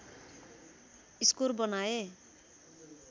score बनाए